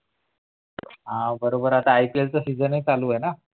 हां बरोबर आता I. P. L सीजन चालू आहे ना?